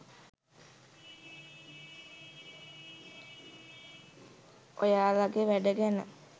ඔයාලගේ වැඩ ගැන.